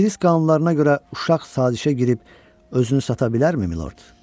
İngilis qanunlarına görə uşaq sazişə girib özünü sata bilərmi, milord?